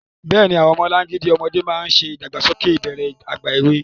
Bẹ́ẹ̀ni, àwọn ọmọlangidi ọmọdé máa ń ṣe ìdàgbàsókè ìbẹ̀rẹ̀ ìgbà èwe.